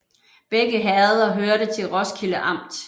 Begge herreder hørte til Roskilde Amt